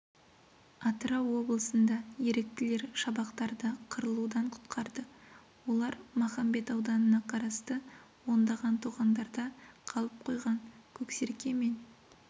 атырау облысында еріктілер шабақтарды қырылудан құтқарды олар махамбет ауданына қарасты ондаған тоғандарда қалып қойған көксерке мен